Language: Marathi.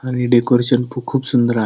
आणि डेकोरेशन खूप सुंदर आहे.